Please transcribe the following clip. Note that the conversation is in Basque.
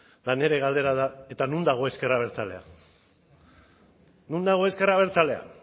eta nire galdera da eta non dago ezker abertzalea non dago ezker abertzalea